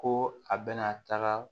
Ko a bɛna taga